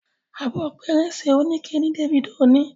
Abọ́ pẹrẹsẹ onikẹ ní Davido ní.